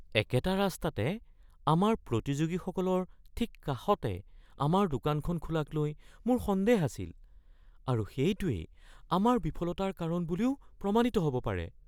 একেটা ৰাস্তাতে আমাৰ প্ৰতিযোগীসকলৰ ঠিক কাষতে আমাৰ দোকানখন খোলাকলৈ মোৰ সন্দেহ আছিল আৰু সেইটোৱেই আমাৰ বিফলতাৰ কাৰণ বুলিও প্ৰমাণিত হ’ব পাৰে।